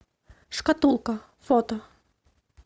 шкатулка фото